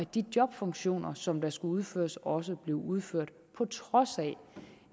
de jobfunktioner som skulle udføres også blev udført på trods af